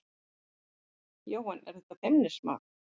Jóhann: Er þetta feimnismál?